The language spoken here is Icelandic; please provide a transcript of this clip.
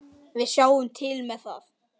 Við sjáum til með það.